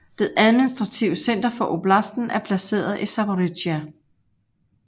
Det administrative center for oblasten er placeret i Zaporizjzja